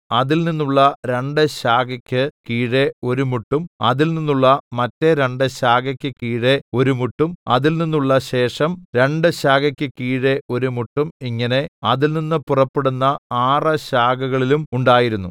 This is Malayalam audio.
അതിൽനിന്നുള്ള രണ്ട് ശാഖയ്ക്ക് കീഴെ ഒരു മുട്ടും അതിൽനിന്നുള്ള മറ്റെ രണ്ട് ശാഖയ്ക്ക് കീഴെ ഒരു മുട്ടും അതിൽനിന്നുള്ള ശേഷം രണ്ട് ശാഖയ്ക്ക് കീഴെ ഒരു മുട്ടും ഇങ്ങനെ അതിൽനിന്ന് പുറപ്പെടുന്ന ആറ് ശാഖകളിലും ഉണ്ടായിരുന്നു